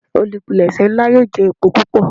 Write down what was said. Olupilẹṣẹ nla yoo jẹ epo pupọ.